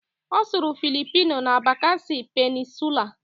Ọ sụrụ Philipino na Bakasi Peninsulaa